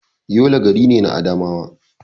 Yola gari ne na Adamawa.